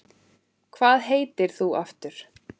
Hvað heitir þú aftur?